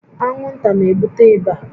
Anwụnta na-ebute ịba